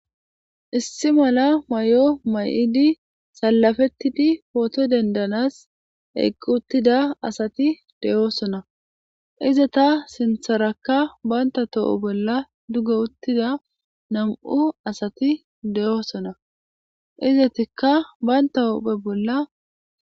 Issi mala may'o may'idi salafettidi pooto dendanas eqqi uttida asati deyoosona iza ta sintharakka banta tooho bolla duggo uttida nam'u asati deyoosona izatikka baynta huphe bolla.